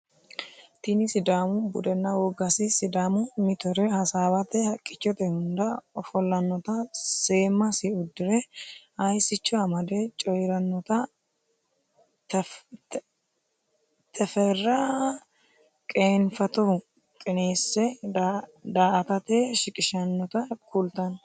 Tini sidaamu budenna wogasi sidaamu mittoee hasawate haqichote hunda offolanotta seemasi udire hayisicho amade coyiranotta teferra qeenfatohu qineese da'atate shiqishinotta kulitanno